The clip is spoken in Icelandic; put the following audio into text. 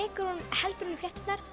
heldur hún í flétturnar